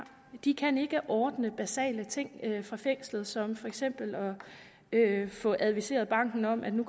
de kan ikke ordne basale ting fra fængslet som for eksempel at få adviseret banken om at der